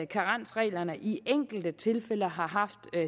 karensreglerne i enkelte tilfælde har haft